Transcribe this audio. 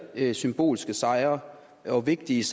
er symbolske sejre og vigtige